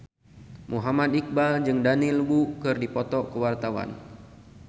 Muhammad Iqbal jeung Daniel Wu keur dipoto ku wartawan